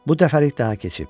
Bu dəfəlik daha keçib.